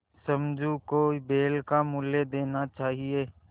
समझू को बैल का मूल्य देना चाहिए